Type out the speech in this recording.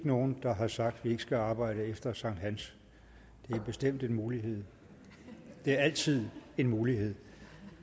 nogen der har sagt at vi ikke skal arbejde efter sankthans det er bestemt en mulighed det er altid en mulighed